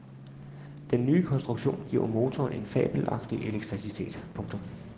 Den nye konstruktion giver motoren en fabelagtig elasticitet. punktum